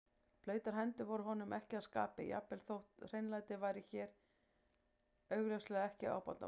Blautar hendur voru honum ekki að skapi, jafnvel þótt hreinlæti væri hér augljóslega ekki ábótavant.